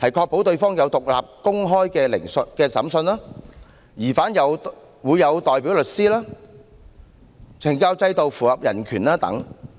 確保對方有獨立公開的審訊、疑犯會有代表律師、懲教制度符合人權等。